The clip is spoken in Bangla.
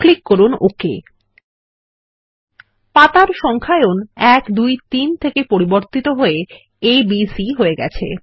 ক্লিক করুন ওক পাতার সংখ্যায়ন 1 2 3 থেকে পরিবর্তিত হয়ে a b c হয়ে গেছে